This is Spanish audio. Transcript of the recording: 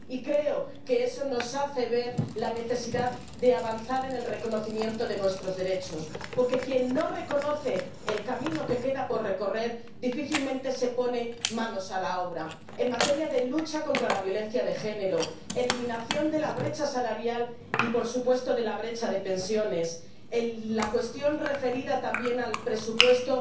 Y creo que eso nos hace ver la necesidad de avanzar en el reconocimiento de nuestros derechos, porque quien no reconoce el camino que queda por recorrer difícilmente se pone manos a la obra en materia de lucha contra la violencia del género, eliminación de la brecha salarial y, por supuesto, de la brecha de pensiones, la cuestión referida también al presupuesto